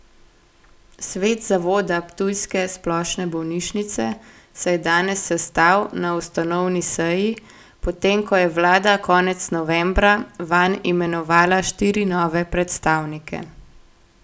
Svet zavoda ptujske splošne bolnišnice se je danes sestal na ustanovni seji, potem ko je vlada konec novembra vanj imenovala štiri nove predstavnike.